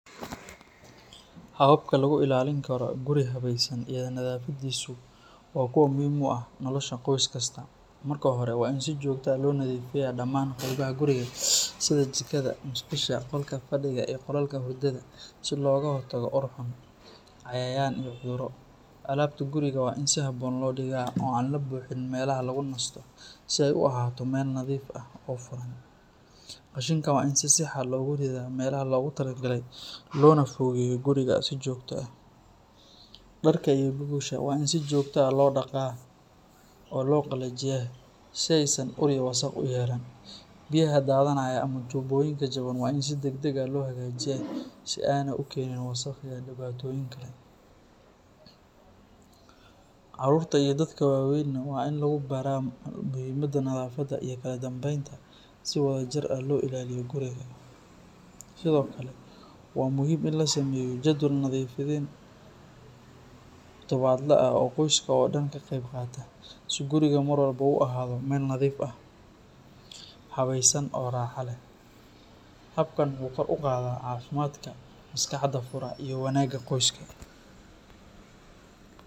Hababka lagu ilaalin karo guri habaysan iyo nadaafadiisu waa kuwa muhiim u ah nolosha qoys kasta. Marka hore, waa in si joogto ah loo nadiifiyaa dhammaan qaybaha guriga sida jikada, musqusha, qolka fadhiga iyo qolalka hurdada si looga hortago ur xun, cayayaan iyo cudurro. Alaabta guriga waa in si habboon loo dhigaa oo aan la buuxin meelaha lagu nasto, si ay u ahaato meel nadiif ah oo furan. Qashinka waa in si sax ah loogu ridaa meelaha loogu talagalay loona fogeeyo guriga si joogto ah. Dharka iyo gogosha waa in si joogto ah loo dhaqaa oo loo qalajiyaa si aysan ur iyo wasakh u yeelan. Biyaha daadanaya ama tuubooyinka jaban waa in si degdeg ah loo hagaajiyaa si aanay u keenin wasakh iyo dhibaatooyin kale. Carruurta iyo dadka waaweynba waa in lagu baraa muhiimadda nadaafadda iyo kala dambeynta si wadajir ah loo ilaaliyo guriga. Sidoo kale, waa muhiim in la sameeyo jadwal nadiifin todobaadle ah oo qoyska oo dhan ka qayb qaato si gurigu mar walba u ahaado meel nadiif ah, habaysan oo raaxo leh. Habkan wuxuu kor u qaadaa caafimaadka, maskaxda fura, iyo wanaagga qoyska.